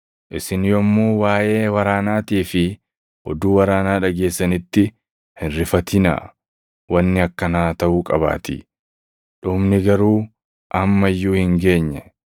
Isin yommuu waaʼee waraanaatii fi oduu waraanaa dhageessanitti hin rifatinaa. Wanni akkanaa taʼuu qabaatii; dhumni garuu amma iyyuu hin geenye.